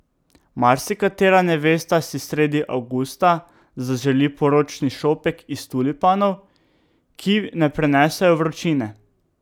Marsikatera nevesta si sredi avgusta zaželi poročni šopek iz tulipanov, ki ne prenesejo vročine.